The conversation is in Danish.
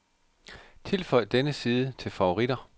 Tilføj denne side til favoritter.